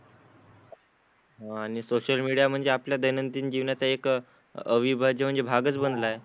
आणि social media म्हणजे आपल्या दैनंदिन जीवनाचा एक अविभाज्य म्हणजे भागच बनला आहे.